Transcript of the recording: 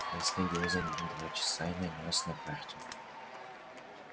я следил за ним два часа и нанёс на карту